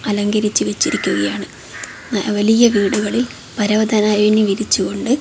അലങ്കരിച്ചു വെച്ചിരിക്കുകയാണ് ന വലിയ വീടുകളിൽ പരവതനായിനി വിരിച്ചുകൊണ്ട്--